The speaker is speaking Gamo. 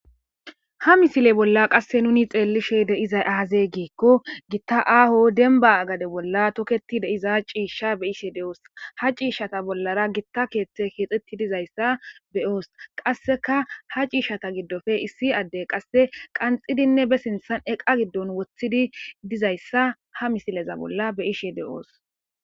ha misile bolla qasse nuni xeellishe deizay aaze giikko gitta aaho denba gade bolla toketi deiza ciishsha be ishe de7oos ha ciishshata bollara gitta keeththe keexetti dizayssa beyoos qasseka ha ciishata giddofe issi addey qasse qanxidinne be sinthan eqa giddon woththidi dizayssa ha misileza bolla beyishe de7oos